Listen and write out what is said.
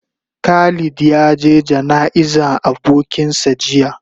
Khalid ya ge gana'iza abokin sa jiya.